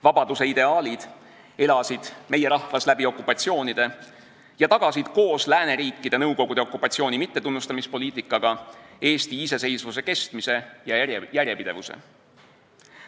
Vabaduse ideaalid elasid meie rahvas kogu okupatsioonide aja ja tagasid koos lääneriikide Nõukogude okupatsiooni mittetunnustamispoliitikaga Eesti iseseisvuse kestmise ja järjepidevuse.